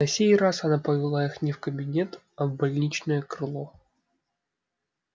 на сей раз она повела их не в кабинет а в больничное крыло